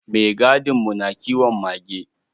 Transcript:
Maigadin mu na kiwon mage.